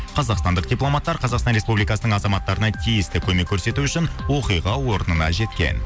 қазақстандық дипломаттар қазақстан республикасының азаматтарына тиісті көмек көрсету үшін оқиға орнына жеткен